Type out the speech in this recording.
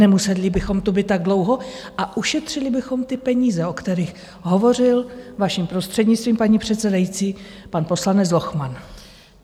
Nemuseli bychom tu být tak dlouho a ušetřili bychom ty peníze, o kterých hovořil, vaším prostřednictvím, paní předsedající, pan poslanec Lochman.